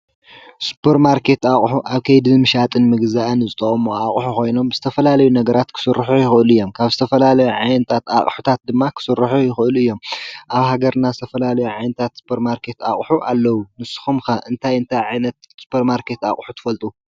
ስፐር ማርከት ኣቕሑ ኣብ ከይዲምሻጥን ምግዛእን ዝጠቕሙ ኣቕሑ ኾይኖም ብዝተፈላለዩ ነገራት ክሥርሑ ይኽእሉ እዮም፡፡ ካብ ዝተፈላለዩ ዓይነታት ኣቕሑታት ድማ ኽሥርሑ ይኽእሉ እዮም፡፡ ኣብ ሃገርና ዝተፈላለዩ ዓይነታት ስፐርማርከት ኣቕሑ ኣለዉ፡፡ ንስኹም ከ እንታይ እንታይ ዓይነት ስፐር ማርከት ኣቕሑ ትፈልጡ?